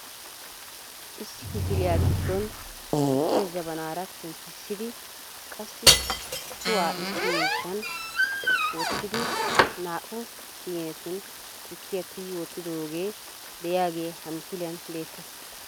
Issi kifiliyaa giddon tukkiyaa jabaanara penttissidi qassi cuwaa issi miishshan wottidi naa"u siinetun tukkiya tigi wottidooge de'iyaagee ha misiliyaan be'ettees.